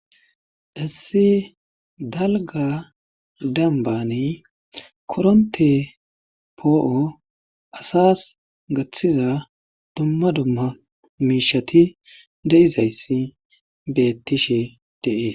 Qassi dalgga dembanni korontte poo'o asas gaththiza dumma dumma miishshati de'izayssi beetishe de'ees.